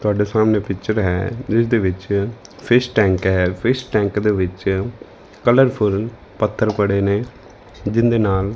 ਤੁਹਾਡੇ ਸਾਹਮਣੇ ਪਿੱਚਰ ਹੈ ਜਿਸਦੇ ਵਿੱਚ ਫਿਸ਼ ਟੈਂਕ ਐ ਫਿਸ਼ ਟੈਂਕ ਦੇ ਵਿੱਚ ਕਲਰਫੁਲ ਪੱਥਰ ਪੜੇ ਨੇ ਜਿੰਦੇ ਨਾਲ--